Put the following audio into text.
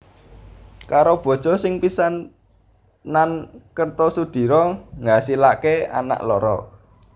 Karo bojo sing pisanan Kertosudiro ngasilake anak loro